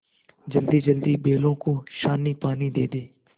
जल्दीजल्दी बैलों को सानीपानी दे दें